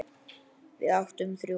Við áttum þrjú.